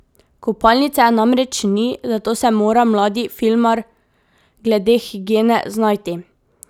Kopalnice namreč ni, zato se mora mladi filmar glede higiene znajti.